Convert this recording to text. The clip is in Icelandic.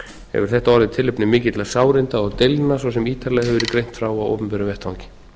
hefur þetta orðið tilefni mikilla sárinda og deilna svo sem ítarlega hefur verið greint frá á opinberum vettvangi